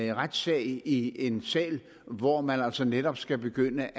retssag i en sal hvor man altså netop skal begynde